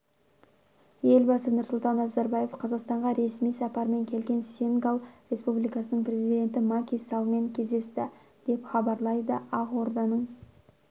елбасы нұрсұлтан назарбаев қазақстанға ресми сапармен келген сенегал республикасының президенті маки саллмен кездесті деп хабарлайды ақорданың